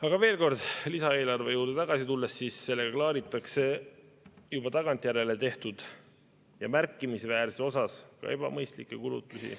Aga veel kord lisaeelarve juurde tagasi tulles, sellega klaaritakse tagantjärele juba tehtud ja märkimisväärses osas ebamõistlikke kulutusi.